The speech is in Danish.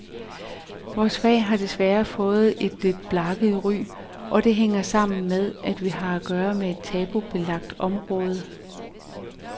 Vores fag har desværre fået et lidt blakket ry, og det hænger sammen med, at vi har at gøre med et tabubelagt område.